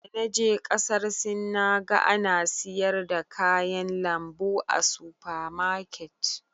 Da na je kasar Sin, na ga ana siyar da kayan lambu a sufa maket.